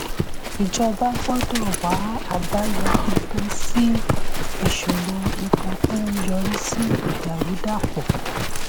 ìjọba gbọ́dọ̀ wá àbáyọ pípẹ́ sí ìṣòro epo tó ń yọrí sí ìdàrúdàpọ̀.